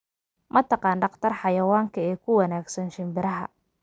ma taqaan dhaqtar xawayanka ee ku wanaagsan shinbiraha